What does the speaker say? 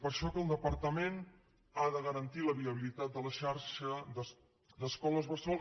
per això que el departament ha de garantir la viabilitat de la xarxa d’escoles bressol